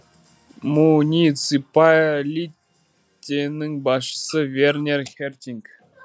муниципалитенің басшысы вернер хертинг